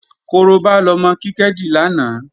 Korobá lọmọ Kíkẹ́ dì lánàá